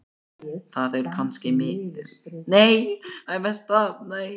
Það er kannski forvitni í röddinni, en líka mikill þótti.